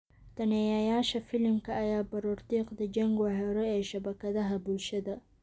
Daneeyayaasha filimka ayaa baroordiiqda Jengua hore ee shabakadaha bulshada.